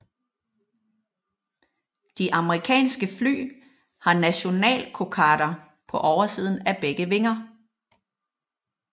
De amerikanske fly har nationalkokarder på oversiden af begge vinger